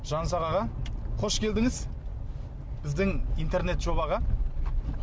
жанұзақ аға қош келдіңіз біздің интернет жобаға